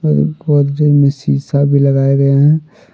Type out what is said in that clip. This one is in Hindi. गोदरेज में शीशा भी लगाए गए हैं।